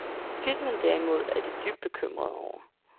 Filmen, derimod, er de dybt bekymrede over.